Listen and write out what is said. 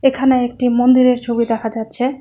এখানে একটি মন্দিরের ছবি দেখা যাচ্ছে।